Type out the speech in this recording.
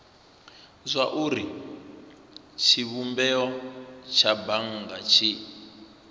zwauri tshivhumbeo tsha bannga tshi